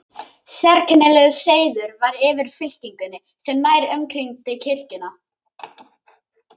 Sérkennilegur seiður var yfir fylkingunni sem nær umkringdi kirkjuna.